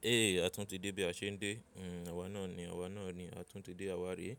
E, a tún ti dé bí a ṣe ń dé. Hmm, àwa náà ni, àwa náà ni. A tún ti dé àwa re.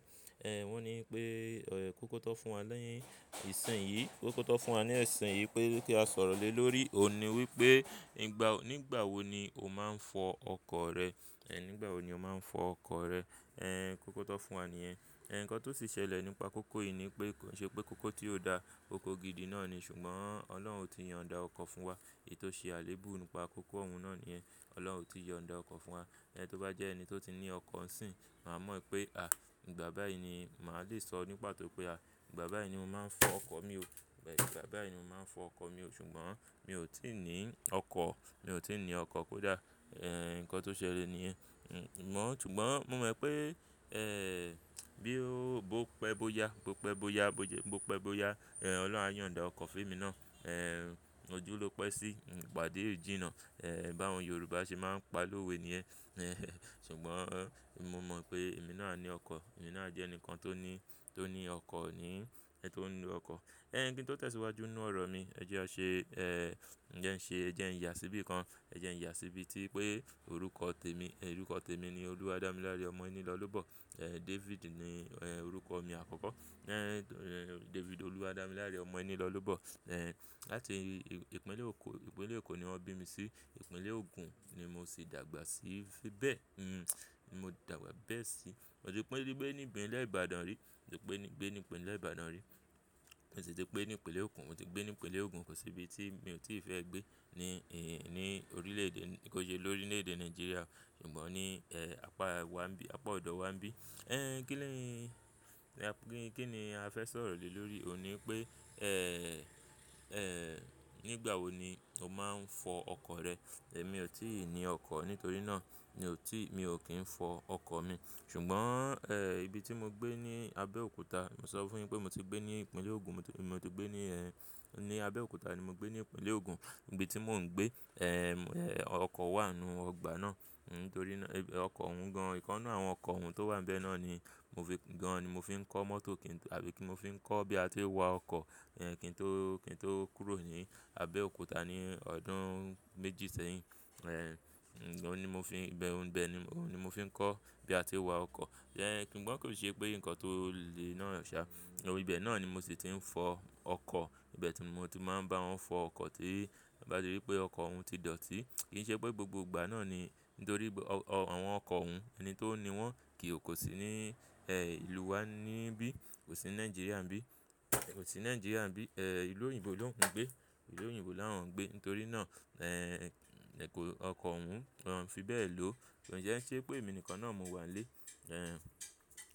Kókó tán fún wa n ìsìn yìí. Kókó tán fún wa n ìsìn yìí pé kí a sọ̀rọ̀ lé lórí ohun ni wípé, nígbà wo ni o máa ń fọ ọkọ̀ rẹ. E, nígbà wo ni o máa ń fọ ọkọ̀ rẹ. E, kókó tó fún wa ní ẹ. E, nǹkan tó ti ṣẹlẹ̀ nípa kókó yìí ni pé, kìí ṣe pé kókó tí ò da, kókó gidi náà ni, ṣùgbọ́n Ọlọ́run ti yan ọ̀dà ọkọ̀ fún wa. Èyí tó ṣe àléébù nípa kókó ọ̀hún náà ní yẹn. Ọlọ́run ti yan ọ̀dà ọkọ̀ fún wa. E, tó bá jẹ́ ẹni tó ti ní ọkọ̀ ńsìn, màá mọ̀ pé, à, ìgbà báyìí ni màá lè sọ ní pàtó pé a, ìgbà báyìí ni mo máa ń fọ ọkọ̀ mi o. Ìgbà báyìí ni mo máa ń fọ ọkọ̀ mi o. Ṣùgbọ́n mi ò tí ì ní ọkọ̀. Mi ò tí ì ní ọkọ̀, kó dà. E, nǹkan tó ṣẹlẹ̀ ní yẹn. Hmm, mo mọ̀, ṣùgbọ́n mo mọ̀ pé, e, bí ó, bó pẹ́ bó yá, bó pẹ́ bó yá, bó pẹ́ bó yá, e, Ọlọ́run á yan ọ̀dà ọkọ̀ fún èmi náà. E, ojú ló pẹ́ sí, hmm, ìpàdé o ìjìnnà. E, bá àwọn Yorùbá ṣe máa ń pa lówe ni yẹn. E, ṣùgbọ́n mo mọ̀ pé èmi náà a ní ọkọ̀. Èmi náà a jẹ́ ẹnìkan tó ní, tó ní ọkọ̀ ni. E, tó ní ọkọ̀. E, ǹkan tí ó tẹ̀síwájú nínú ọ̀rọ̀ mi, ẹ jẹ́ a ṣe, e, ǹjẹ́ ẹ ṣe, ǹjẹ́ ẹ̀ ìyàsí bíi nǹkan. Ǹjẹ́ ẹ̀ ìyàsí bíi tí pé orúkọ tèmi, orúkọ tèmi ni Olúwadámiláre Ọmọenílọ́lúbọ̀. E, David ni, e, orúkọ mi àkọ́kọ́. E, David Olúwadámiláre Ọmọnílọ́lúbọ̀. E, láti ìpínlẹ̀ Eko, ìpínlẹ̀ Eko ni wọ́n bí mi sí. Ìpínlẹ̀ Ogun ni mo sì dàgbà sí. Sí bẹ́ẹ̀, hmm, mo dàgbà bẹ́ẹ̀ sí. Mo ti gbé níi ìpínlẹ̀ Ibadan rí. Mo ti gbé níbi nílẹ̀ Ibadan rí. Mo sì ti gbé ní ìpínlẹ̀ Ogun. Mo ti gbé ní ìpínlẹ̀ Ogun. Kò sí ibi tí mi ò tí ì fẹ́ gbé ní, ní orílẹ̀ èdè, kí ó ṣe lórílẹ̀ èdè Nàìjíríà. Ṣùgbọ́n ní, e, apá wá bí, apá ọ̀dọ̀ wá bí. E, kí ni, kí ni a fẹ́ sọ̀rọ̀ lé lórí ohun ni pé, e, e, nígbà wo ni o máa ń fọ ọkọ̀ rẹ. E, mi ò tí ì ní ọkọ̀. Nítorí náà mi ò tí ì, mi ò kí ń fọ ọkọ̀ mi. Ṣùgbọ́n, e, ibi tí mo gbé ní Abẹ́òkúta, mo sọ fún yín pé mo ti gbé ní ìpínlẹ̀ Ogun. Mo ti gbé ní ẹ, ní Abẹ́òkúta ni mo gbé ní ìpínlẹ̀ Ogun. Ibi tí mò ń gbé, e, e, ọkọ̀ wà nínú ọgbà náà. Hmm, nítorí náà, ọkọ̀ òun gan-an. Ìkan nínú àwọn ọkọ̀ òun tó wà níbẹ̀ náà ni mo fi gan-an, ni mo fi ń kọ́ mọ́tò, àbí kí mo fi ń kọ́ bí a ti ń wa ọkọ̀. E, kí n tó, kí n tó kúrò ní Abẹ́òkúta ní ọdún méjì sẹ́yìn. E, òun ni mo fi ń, ibẹ̀, òun ibẹ̀ ni, òun ni mo fi ń kọ́ bí a ti ń wa ọkọ̀. Ẹ̀hn, ṣùgbọ́n kò ṣe pé nǹkan tó le náà ṣá. Ibẹ̀ náà ni mo sì ti ń fọ ọkọ̀. Ìbẹ̀ tí mo ti máa ń bá wọn fọ ọkọ̀ tí n bá ti ríi wípé ọkọ̀ òun ti dọ̀tí. Kì í ṣe pé gbogbo ìgbà náà ni, nítorí pé àwọn ọkọ̀ òun ná, ẹni tó ni wọ́n, kò sí ní ìlú wa níbí. Kò sí ní Nàìjíríà níbí. Kò sí ní Nàìjíríà níbí. E, ìlú òyìnbó ló ń gbé. Ìlú òyìnbó là wọ́n ń gbé. Nítorí náà, ọkọ̀ òun, wọ́n fi bẹ́ẹ̀ ló. Kò jẹ́ ẹ́ ṣe pé èmi nìkan náà ni mo wà nílé. E,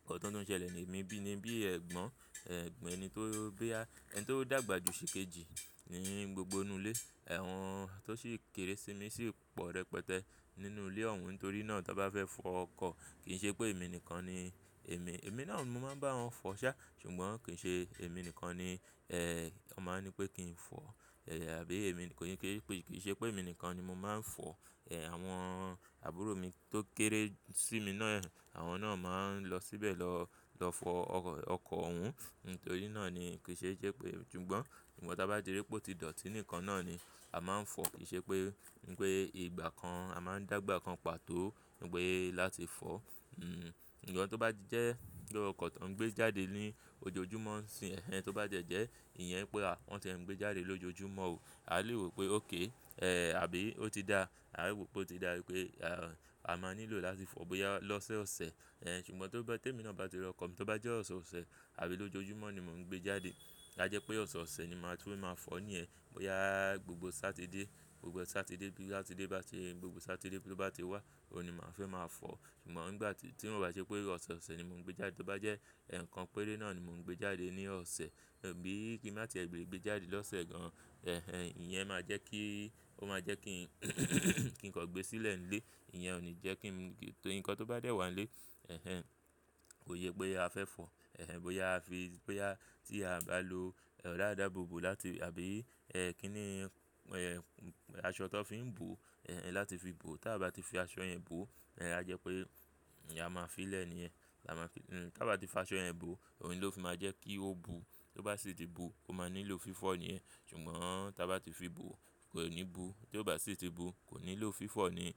nǹkan tó ti ṣẹlẹ̀ ní èmi bíi níbí ẹgbọ́n, e, ẹ̀gbọ́n ẹni tó, bí i a, ẹni tó dàgbà ju ṣèkejì ní gbogbo inú ilé. Àwọn tó sì kéré sí mi sì pọ̀ rẹpẹtẹ nínú ilé òun. Nítorí náà tí wọ́n bá fẹ́ fọ ọkọ̀, kì í ṣe pé èmi nìkan ni, èmi, èmi náà ni mo máa ń bá wọn fọ ṣá. Ṣùgbọ́n kì í ṣe èmi nìkan ni, wọ́n máa ń ní pé kí n fọ. E, àbí èmi kò ní ké, kì í ṣe pé èmi nìkan ni mo máa ń fọ. Àwọn àbúrò mi tó kéré sí mi náà, àwọn náà máa ń lọ síbẹ̀ lọ, lọ fọ ọkọ̀ òun. Nítorí náà ni kì í ṣe jẹ́ pé, ṣùgbọ́n, ṣùgbọ́n tí wọ́n bá jẹ́ wípé ó ti dọ̀tí nìkan náà ni a máa ń fọ. Kì í ṣe pé, a máa ń dàgbà kan pàtó. Nígbà yẹn láti fọ. Hmm, ǹjẹ́ tí ó bá jẹ́ pé ọkọ̀ tó ń gbé jáde ní ojoojúmọ́ ń sìn. Ẹ̀hen tí ó bá jẹ́ jẹ́ ìyẹn pé a, wọn tiẹ̀ẹ́ gbé jáde lójoojúmọ́ o. A lè rò pé bẹ́ẹ̀ni. E, àbí ó ti da. A lè rò pé ó ti da wípé a máa nílò láti fọ bóyá lọ́sẹ̀sẹ̀. E, ṣùgbọ́n te mi náà bá ti ra ọkọ̀ mi, tó bá jẹ́ ọ̀sẹ̀ ọ̀sẹ̀ àbí lójoojúmọ́ ni mò ń gbé jáde. A jẹ́ pé ọ̀sẹ̀ ọ̀sẹ̀ ni màá tún máa fọ ní yẹn. Bóyá, gbogbo Sátidé, gbogbo Sátidé bí Sátidé bá ti, gbogbo Sátidé tó bá ti wá, òun ni màá fẹ́ máa fọ. Ṣùgbọ́n nígbà tí, tí ó bá jẹ́ wípé ọ̀sẹ̀ ọ̀sẹ̀ ni mò ń gbé jáde, tó bá jẹ́ ẹ̀kan péré náà ni mò ń gbé jáde ní ọ̀sẹ̀. Àbí i kí màá ti ẹ lé gbé jáde lọ́sẹ̀ gan. Ẹ̀hen, ìyẹn máa jẹ́ kí, ó máa jẹ́ kí, kí n kọ gbé sílẹ̀ nílé. Ìyẹn ò ní jẹ́ kí n, kí n, nǹkan tó bá dẹ̀ wá nílé. Ẹ̀hen, kò yẹ pé a fẹ́ fọ. Ẹ̀hen, bóyá a fi, bóyá tí a o bá lo ọ̀rà ìdáàbòbò láti, àbí, e, kí ni, e, aṣọ tó fi ń bò, e, láti fi bò. Tí a bá ti fi aṣọ yẹn bò, a jẹ́ pé a máa fi lẹ̀ ní ẹ. Tí a bá ti fi aṣọ yẹn bò, òun ni ó fi máa jẹ́ kí ó bu. Tí ó bá sì ti bu, ó máa nílò fífọ̀ ni yẹn. Ṣùgbọ́n tí a bá ti fi bò, kò ní bu. Tí ó bá sì ti bu, kò nílò fífọ̀ ni.